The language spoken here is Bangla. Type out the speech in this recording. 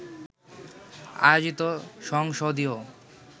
আয়োজিত সংসদীয়